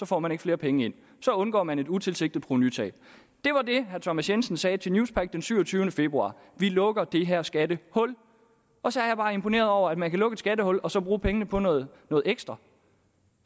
får man ikke flere penge ind så undgår man et utilsigtet provenutab det var det herre thomas jensen sagde til newspaq den syvogtyvende februar vi lukker det her skattehul og så er jeg bare imponeret over at man kan lukke et skattehul og så bruge pengene på noget ekstra